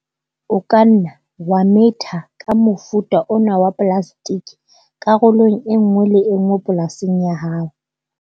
O ka nna wa metha ka mofuta ona wa plastike karolong e nngwe le e nngwe polasing ya hao.